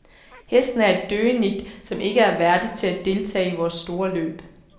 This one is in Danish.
Hesten er et døgenigt, som ikke er værdig til at deltage i vores store løb.